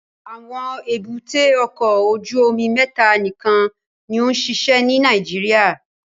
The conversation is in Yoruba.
Awọn èbúté ọkọ ojú omi mẹta nikan ni o nṣiṣẹ ni Nàìjíríà